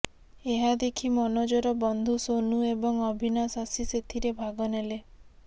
ଏହା ଦେଖି ମନୋଜର ବନ୍ଧୁ ସୋନୁ ଏବଂ ଅବିନାଶ ଆସି ସେଥିରେ ଭାଗନେଲେ